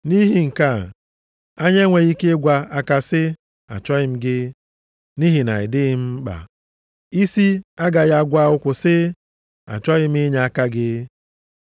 Nʼihi nke a, anya enweghị ike ịgwa aka sị, “Achọghị m gị, nʼihi na ị dịghị m mkpa.” Isi agakwaghị agwa ụkwụ sị, “Achọghị m inyeaka gị.”